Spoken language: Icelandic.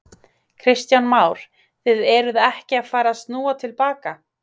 Kristján Már: Þið eruð ekki að fara snúa til baka?